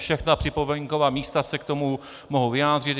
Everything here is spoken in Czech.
Všechna připomínková místa se k tomu mohou vyjádřit.